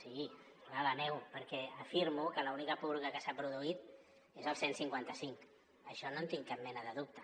sí clar la nego perquè afirmo que l’única purga que s’ha produït és el cent i cinquanta cinc d’això no en tinc cap mena de dubte